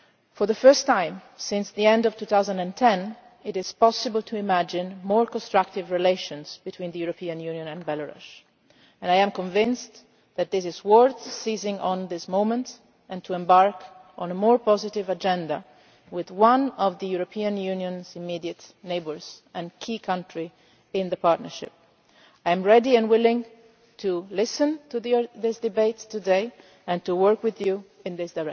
For the first time since the end of 2010 it is possible to imagine more constructive relations between the European Union and Belarus, and I am convinced that it is worth seizing on this moment and embarking on a more positive agenda with one of the European Union's immediate neighbours and a key country in the partnership. I am ready and willing to listen to the discussions today and to work with you along these